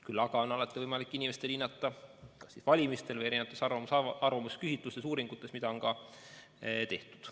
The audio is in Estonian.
Küll aga on alati võimalik teistel inimestel seda hinnata kas valimistel või erinevates arvamusküsitlustes-uuringutes, mida on ka tehtud.